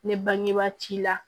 Ne bangebaa t'i la